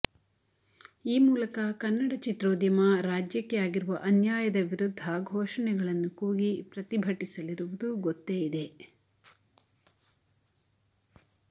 ಈ ಮೂಲಕ ಕನ್ನಡ ಚಿತ್ರೋದ್ಯಮ ರಾಜ್ಯಕ್ಕೆ ಆಗಿರುವ ಅನ್ಯಾಯದ ವಿರುದ್ಧ ಘೋಷಣೆಗಳನ್ನು ಕೂಗಿ ಪ್ರತಿಭಟಿಸಲಿರುವುದು ಗೊತ್ತೇ ಇದೆ